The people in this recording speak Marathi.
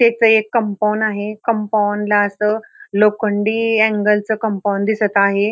इथे एक कंपाऊंड आहे आणि कंपाऊंड ला अस लोखंडी अँगल च कंपाऊंड दिसत आहे.